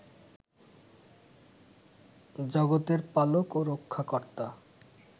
জগতের পালক ও রক্ষাকর্তা